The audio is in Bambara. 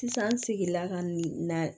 Sisan n seginna ka na